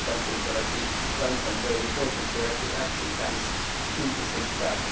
Four countries have actually taken some very important corrective action thanks to the six pack